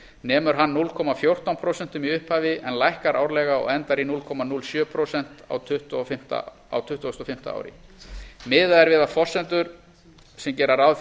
nemur hann núll komma fjórtán prósent í upphafi en lækkar árlega og endar í núll komma núll sjö prósent á tuttugustu og fimmta ári miðað er við forsendur sem gera ráð